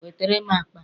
Wetere m akpa m